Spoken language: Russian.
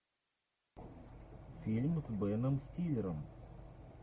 фильм с беном стиллером